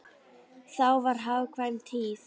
Þá var hagkvæm tíð.